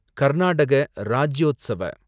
Karnataka Rajyotsava